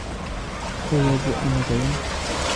Koyobu ano koyan